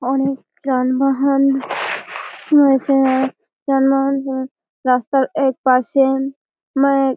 অনেক যানবাহান রয়েছে আর যানবাহন রাস্তার একপাশে মানে --